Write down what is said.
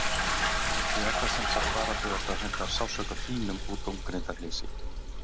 Ég er það sem sagt bara þegar það hentar sársauka þínum og dómgreindarleysi.